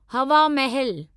हवा महल